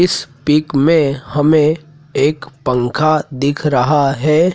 इस पिक में हमें एक पंखा दिख रहा हैं।